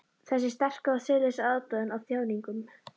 Þessi sterka og siðlausa aðdáun á þjáningum.